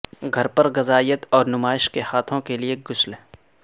گھر پر غذائیت اور نمائش کے ہاتھوں کے لئے غسل